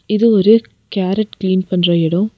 இது ஒரு carrot clean பண்ற எடோ.